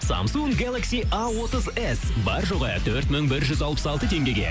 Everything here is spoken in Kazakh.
самсунг гелакси а отыз ес бар жоғы төрт мың бір жүз алпыс алты теңгеге